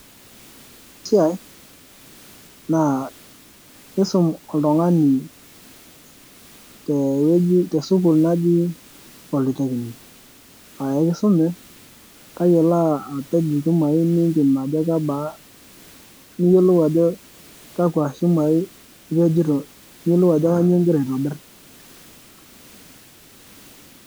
naa kisum oltungani tee sukul naaji polytechnic ,aa ekisumi tayiolo apej ichumai nimpim ajo kebaa ,niyiolou ajo kakua shumai ipejito niyiolou ajo kanyioo igira atobir.